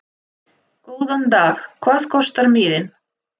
Góðan dag. Hvað kostar miðinn?